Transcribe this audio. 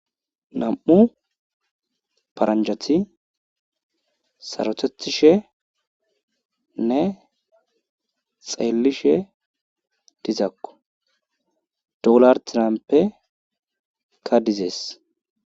Nam7u paranjati sarothettishenne xeellishe dizakko doonal tiramppeyka dizees.